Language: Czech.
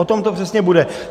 O tom to přesně bude.